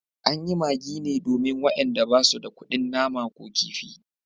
An yi magi ne domin wayanda ba su da kudin nama ko kifi